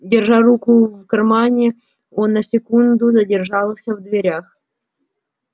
держа руку в кармане он на секунду задержался в дверях